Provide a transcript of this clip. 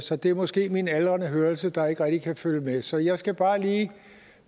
så det er måske min aldrende hørelse der ikke rigtig kan følge med så jeg skal bare lige